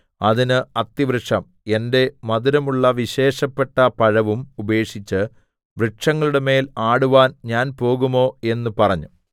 അതിന് അത്തിവൃക്ഷം എന്റെ മധുരമുള്ള വിശേഷപ്പെട്ട പഴവും ഉപേക്ഷിച്ച് വൃക്ഷങ്ങളുടെമേൽ ആടുവാൻ ഞാൻ പോകുമോ എന്ന് പറഞ്ഞു